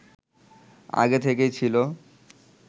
আগে থেকেই ছিল